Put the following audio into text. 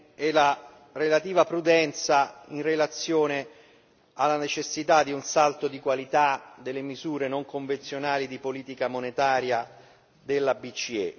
e la relativa prudenza in relazione alla necessità di un salto di qualità delle misure non convenzionali di politica monetaria della BCE.